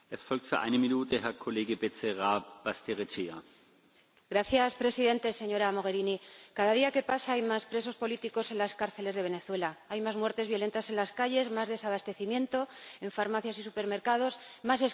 Señor Presidente, señora Mogherini, cada día que pasa hay más presos políticos en las cárceles de Venezuela, hay más muertes violentas en las calles, más desabastecimiento en farmacias y supermercados, más escasez de agua y electricidad.